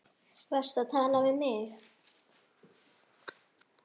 Varstu að tala við mig?